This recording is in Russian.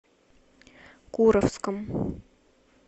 куровском